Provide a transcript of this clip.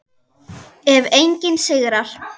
Ef enginn sigrar.